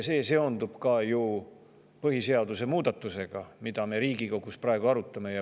See on ju ka seotud põhiseaduse muudatusega, mida me praegu Riigikogus arutame.